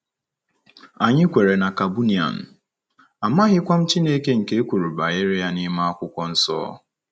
Anyị kweere na Kabunian, amaghịkwa m Chineke nke e kwuru banyere ya n'ime Akwụkwọ Nsọ. ”